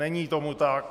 Není tomu tak.